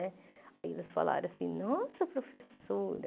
Né aí eles falaram assim, nossa, professora,